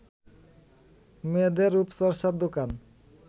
মেয়েদের রূপচর্চার দোকান